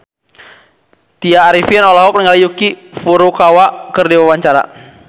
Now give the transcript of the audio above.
Tya Arifin olohok ningali Yuki Furukawa keur diwawancara